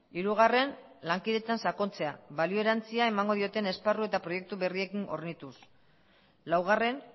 hirugarren lankidetzan sakontzea balio erantsia emango dioten esparru eta proiektu berriekin hornituz laugarren